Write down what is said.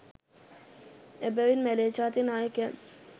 එබැවින් මැලේ ජාතික නායකයන්